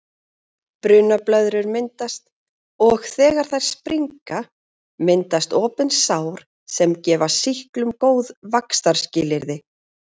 Brunablöðrur myndast og þegar þær springa myndast opin sár sem gefa sýklum góð vaxtarskilyrði.